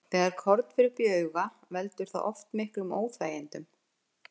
Þegar korn fer upp í auga, veldur það oft miklum óþægindum.